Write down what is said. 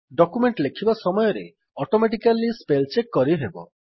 document ଲେଖିବା ସମୟରେ automatically spell check କରିହେବ